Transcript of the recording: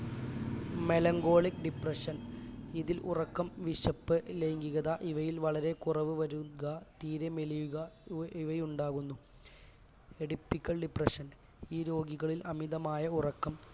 melancholic depression ഇതിൽ ഉറക്കം വിശപ്പ് ലൈംഗികത ഇവയിൽ വളരെ കുറവ് വരുക തീരെ മെലിയുക ഇവ് ഇവ ഉണ്ടാകുന്നു atypical depression ഈ രോഗികളിൽ അമിതമായ ഉറക്കം